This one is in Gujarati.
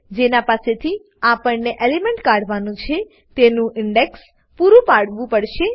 જેના પાસે થી આપણને એલિમેન્ટ કાઢવાનું છે તેનું ઇન્ડેક્સ પૂરું પાડવું પડશે